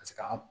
Paseke an